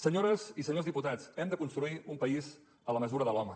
senyores i senyors diputats hem de construir un país a la mesura de l’home